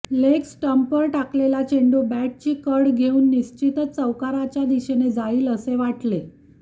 leg स्टम्पवर टाकलेला चेंडू बॅटची कड घेऊन निश्चितच चौकाराच्या दिशेने जाईल असे वाटले